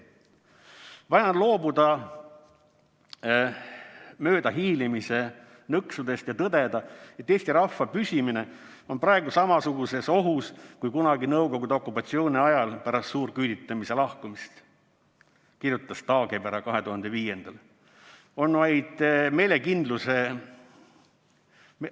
"Vaja on loobuda möödahiilimise nõksudest ja tõdeda, et Eesti rahva püsimine on praegu samasuguses ohus kui kunagi Nõukogude okupatsiooni ajal pärast suurküüditamise lakkamist," kirjutas Taagepera 2005.